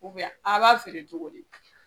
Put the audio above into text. a b'a feere cogo di ?